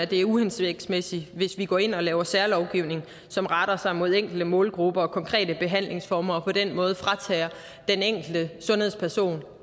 det er uhensigtsmæssigt hvis vi går ind og laver særlovgivning som retter sig mod enkelte målgrupper og konkrete behandlingsformer og på den måde fratager den enkelte sundhedsperson